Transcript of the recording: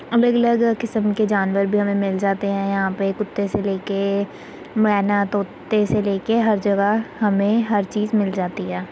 अलग- अलग किस्म के जानवर भी हमें मिल जाते है| हमें यहाँ पे कुत्ते से लेके मैना तोते से लेके हर जगह हमें हर चीज़ मिल जाती है।